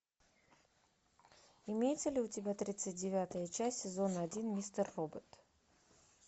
имеется ли у тебя тридцать девятая часть сезона один мистер робот